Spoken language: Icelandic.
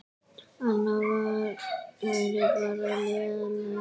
Annað væri bara lélegt.